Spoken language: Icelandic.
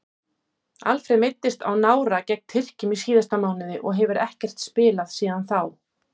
Alfreð meiddist á nára gegn Tyrkjum í síðasta mánuði og hefur ekkert spilað síðan þá.